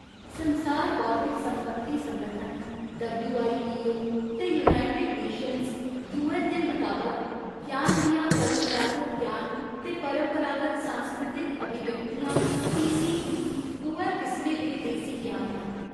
संसार बौद्धिक संपत्ति संगठन, डब्ल्यूआईपीओ ते यूनाइटेड नेशन्ज, यूऐन्न दे मताबक, ज्ञान दियां परंपरागत ज्ञान ते परंपरागत सांस्कृतिक अभिव्यक्तियां, टीसीई, दोऐ किसमें दे देसी ज्ञान न।